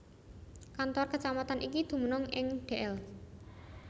Kantor kecamatan iki dumunung ing Dl